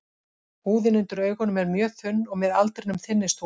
Húðin undir augunum er mjög þunn og með aldrinum þynnist hún.